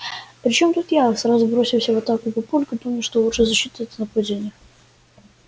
при чем тут я сразу бросился в атаку папулька помня что лучшая защита это нападение